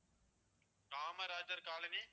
Kamarajar colony